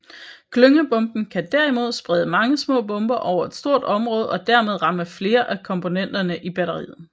Klyngebomben kan derimod sprede mange små bomber over et stort område og dermed ramme flere af komponenterne i batteriet